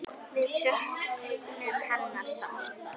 Við söknum hennar sárt.